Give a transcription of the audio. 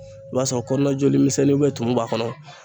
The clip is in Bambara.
I b'a sɔrɔ kɔnɔna joli misɛnninw tumu b'a kɔnɔ